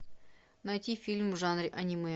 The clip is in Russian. найти фильм в жанре аниме